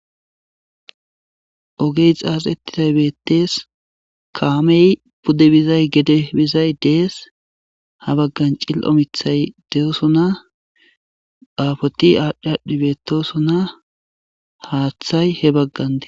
Ogey xaxetidays beettes kammey pude bizay gede bizay des ha bagan cilio miththay dossona afoti adhi adhi beetossona haaththay he bagan des